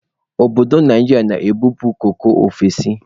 Obodo Naijiria na-ebupu koko ofesi.